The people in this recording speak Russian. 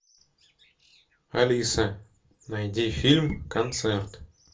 алиса найди фильм концерт